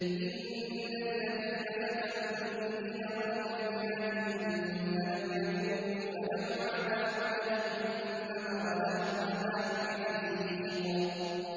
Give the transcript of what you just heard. إِنَّ الَّذِينَ فَتَنُوا الْمُؤْمِنِينَ وَالْمُؤْمِنَاتِ ثُمَّ لَمْ يَتُوبُوا فَلَهُمْ عَذَابُ جَهَنَّمَ وَلَهُمْ عَذَابُ الْحَرِيقِ